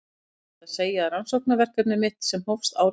Það er óhætt að segja að rannsóknarverkefni mitt sem hófst árið